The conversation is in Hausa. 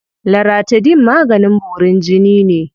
Laratidine maganin borin jini ne.